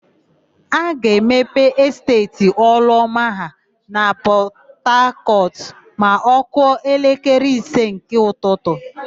A ga-emepe Esteeti Ọlụọma ha na Pọtakọtụ ma ọ kụọ elekere ise nke ụtụtụ.